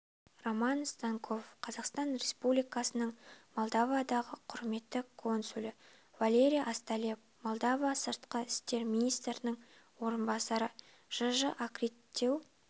роман станков қазақстан республикасының молдовадағы құрметті консулы валерий осталеп молдова сыртқы істер министрінің орынбасары жж аккредиттеу